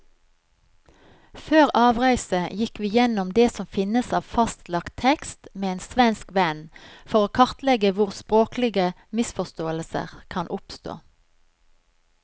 Før avreise gikk vi gjennom det som finnes av fastlagt tekst med en svensk venn, for å kartlegge hvor språklige misforståelser kan oppstå.